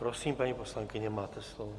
Prosím, paní poslankyně, máte slovo.